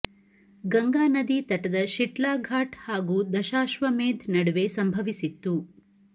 ಗಂಗಾ ನದಿ ತಟದ ಶಿಟ್ಲಾ ಘಾಟ್ ಹಾಗೂ ದಶಾಶ್ವಮೇಧ್ ನಡುವೆ ಸಂಭವಿಸಿತ್ತು